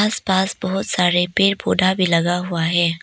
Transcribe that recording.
आस पास बहुत सारे पेड़ पौधा भी लगा हुआ है।